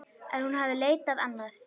En hún hafði leitað annað.